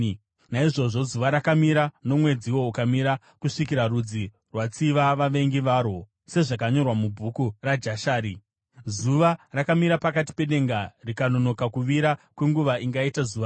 Naizvozvo zuva rakamira, nomwedziwo ukamira, kusvikira rudzi rwatsiva vavengi varwo, sezvazvakanyorwa muBhuku raJashari. Zuva rakamira pakati pedenga rikanonoka kuvira kwenguva ingaita zuva rose.